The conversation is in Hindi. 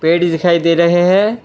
पेड़ दिखाई दे रहे हैं।